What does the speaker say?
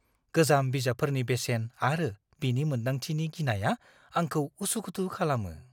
गोजाम बिजाबफोरनि बेसेन आरो बिनि मोनदांथिनि गिनाया आंखौ उसुखुथु खालामो।